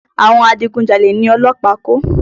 Àwọn adigun jalè ni ọlọ́pàá kó.